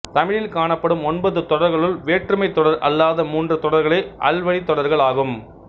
தமிழில் காணப்படும் ஒன்பது தொடர்களுள் வேற்றுமைத் தொடர் அல்லாத மூன்று தொடர்களே அல்வழித் தொடர்கள் ஆகும்